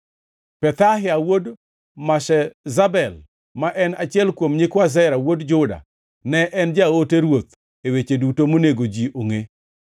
Pethahia wuod Meshezabel, ma en achiel kuom nyikwa Zera wuod Juda, ne en jaote ruoth e weche duto monego ji ongʼe.